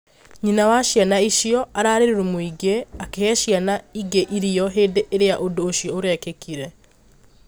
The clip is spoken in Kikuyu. Nyina wa ciana icio ararĩ rũmũ ĩngĩ, akĩhe ciana ĩngĩ irio hĩndĩ ĩrĩa ũndũ ũcio ũrekĩkire